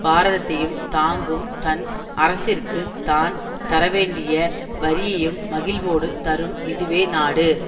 பாரதத்தையும் தாங்கும் தன் அரசிற்குத் தான் தரவேண்டிய வரியையும் மகிழ்வோடு தரும் இதுவே நாடு